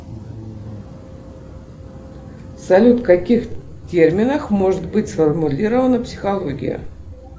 салют в каких терминах может быть сформулирована психология